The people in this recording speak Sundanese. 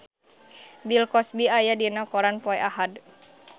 Bill Cosby aya dina koran poe Ahad